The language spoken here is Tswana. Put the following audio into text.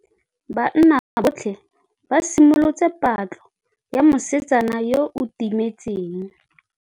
Banna botlhê ba simolotse patlô ya mosetsana yo o timetseng.